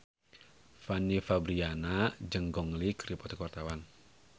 Fanny Fabriana jeung Gong Li keur dipoto ku wartawan